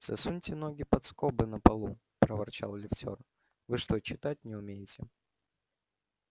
засуньте ноги под скобы на полу проворчал лифтёр вы что читать не умеете